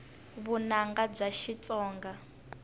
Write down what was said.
vunanga bya xitsonga